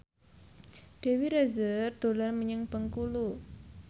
Dewi Rezer dolan menyang Bengkulu